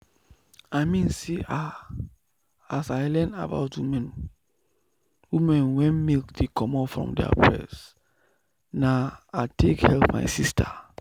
i mean say ah as i learn about women women wen milk dey comot from their breast na i take help my sister.